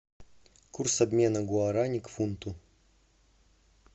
курс обмена гуарани к фунту